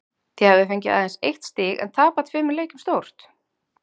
Þið hafið fengið aðeins eitt stig en tapað tveimur leikjum stórt?